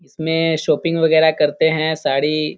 इसमें शॉपिंग वगैरह करतें हैं साड़ी --